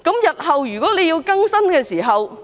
日後如果有需要更新......